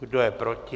Kdo je proti?